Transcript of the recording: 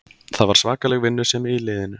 Það var svakaleg vinnusemi í liðinu